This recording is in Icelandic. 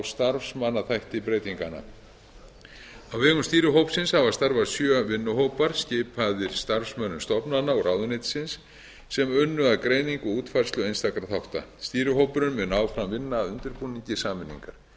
starfsmannaþætti breytinganna á vegum stýrihópsins hafa starfað sjö vinnuhópar skipaðir starfsmönnum stofnananna og ráðuneytisins sem unnu að greiningu og útfærslu einstakra þátta stýrihópurinn mun áfram vinna að undirbúningi sameiningar stefnt er